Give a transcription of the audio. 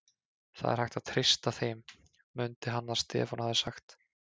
Það er hægt að treysta þeim, mundi hann að Stefán hafði sagt.